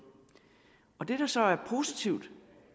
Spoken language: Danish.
det der så er positivt